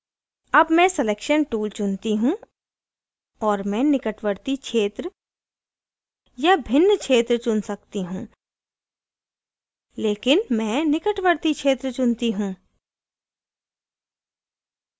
अब मैं selection tool चुनती हूँ और मैं निकटवर्ती क्षेत्र या भिन्न क्षेत्र चुन सकती हूँ लेकिन मैं निकटवर्ती क्षेत्र चुनती हूँ